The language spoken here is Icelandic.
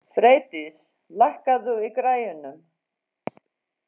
Freydís, lækkaðu í græjunum.